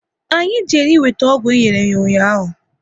Anyị jere e weta ọgwụ enyere ya ụnyaahụ